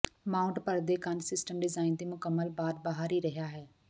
mount ਪਰਦੇ ਕੰਧ system design ਦੇ ਮੁਕੰਮਲ ਬਾਅਦ ਬਾਹਰ ਹੀ ਰਿਹਾ ਹੈ